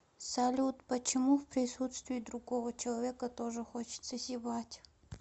салют почему в присутствии другого человека тоже хочется зевать